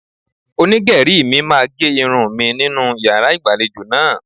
Onígẹ̀rí mi máa ge irun mi nínú yàrá ìgbàlejò náà.